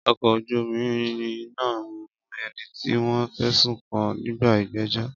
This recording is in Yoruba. Ọkọ̀ ojú omi náà mú ẹni tí wọ́n fẹ̀sùn kàn nígbà ìgbẹ́jọ́.